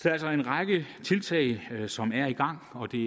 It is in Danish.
er altså en række tiltag som er i gang og det er